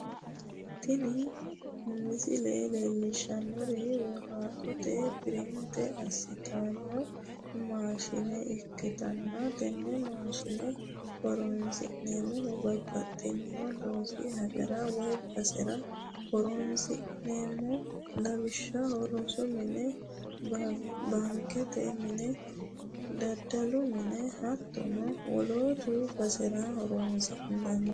tini misile leellishshannohu woraqata pirinte assitanno maashi'ne ikkitanna, tenne maashine horonsi'neemmohu babaxxitino loosu hajara woy basera horonsi'neemmo lawishshaho, rosu mine baankete mine, daddalu mine, hattono wolootta basera horonsi'nanni.